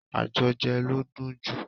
Ajo je ló ń dùn jù.